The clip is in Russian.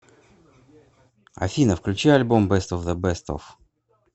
афина включи альбом бест оф бест оф